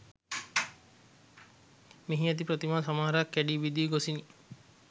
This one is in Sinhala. මෙහි ඇති ප්‍රතිමා සමහරක් කැඩී බිඳී ගොසිනි